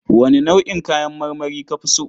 Wane nau'in kayan marmari ka fi so?